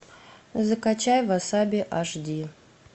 закачай васаби аш ди